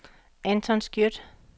Anton Skjødt